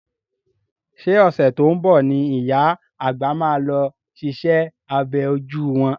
Ṣé ọ̀sẹ̀ tó ń bọ̀ ni ìyá àgbà máa lọ ṣiṣẹ́ abẹ ojú wọn.